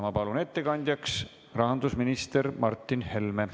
Ma palun ettekandjaks rahandusminister Martin Helme.